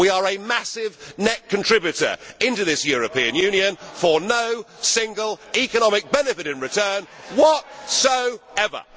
We are a massive net contributor to this European Union for no single economic benefit in return whatsoever!